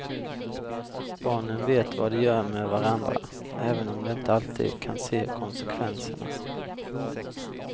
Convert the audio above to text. Barnen vet vad de gör med varandra, även om de inte alltid kan se konsekvenserna.